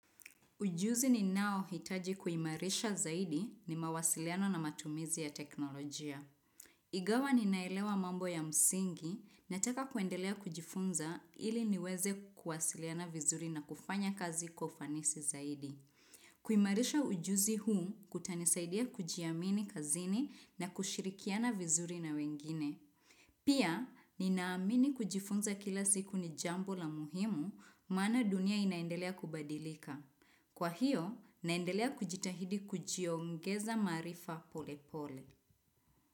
Ujuzi ni nao hitaji kuimarisha zaidi ni mawasiliano na matumizi ya teknolojia. Igawa ninaelewa mambo ya msingi na taka kuendelea kujifunza ili niweze kuwasiliana vizuri na kufanya kazi kwa ufanisi zaidi. Kuimarisha ujuzi huu kutanisaidia kujiamini kazini na kushirikiana vizuri na wengine. Pia, ninaamini kujifunza kila ziku ni jambu la muhimu mana dunia inaendelea kubadilika. Kwa hiyo, naendelea kujitahidi kujiongeza maarifa pole pole.